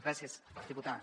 gràcies diputada